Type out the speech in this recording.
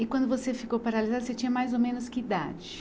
E quando você ficou paralisada, você tinha mais ou menos que idade?